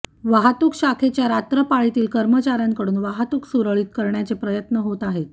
वाहतूक शाखेच्या रात्रपाळीतील कर्मचाऱ्यांकडून वाहतूक सुरळीत करण्याचे प्रयत्न होत आहेत